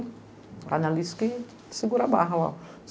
A Anna Alice que segura a barra lá.